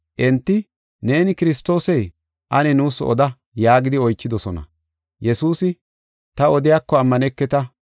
Enti, “Neeni Kiristoosee? Ane nuus oda?” yaagidi oychidosona. Yesuusi, “Ta odiyako ammaneketa.